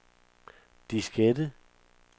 diskette